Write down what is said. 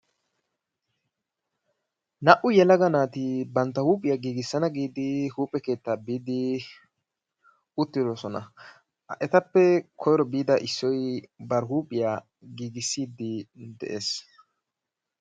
Naa"u yelaga naati bantta huuphiya gigissana giidi huphe keettaa biidi uttidosona. Ha etappe koyro biida issoy bari huuphiya giggissidi dee's.